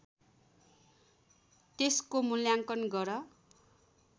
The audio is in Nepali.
त्यसको मुल्याङकन गर